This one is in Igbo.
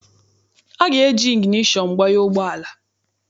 A ga-eji igineshọn gbanye ụgbọala.